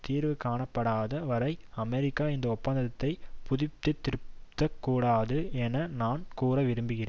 தீர்வு காணப்படாத வரை அமெரிக்கா இந்த ஒப்பந்தத்தை புதுப்பித்திருக்கக் கூடாது என நான் கூற விரும்புகிறேன்